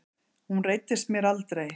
Hún reiddist mér aldrei.